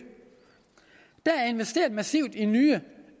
der er investeret massivt i nye